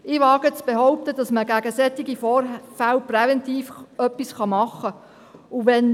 » Ich wage zu behaupten, dass man gegen solche Vorfälle präventiv etwas machen kann.